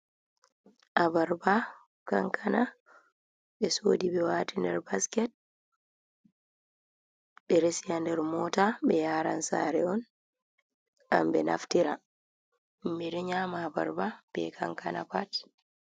Abarba kankana ɓe sodi ɓe wati nder basket ɓe resi ha nder mota, ɓe yaran sare on ngam ɓe naftira, himɓe ɗo nyama abarba be kankana pat.